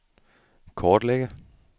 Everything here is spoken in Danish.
kortlægge